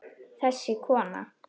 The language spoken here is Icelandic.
Þessi kona!